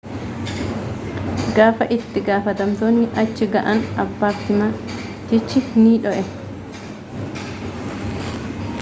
gaafa itti gaafatamtootni achi ga'an apartimantichi ni dho'ee